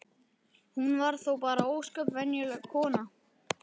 Hún var þó bara ósköp venjuleg kona.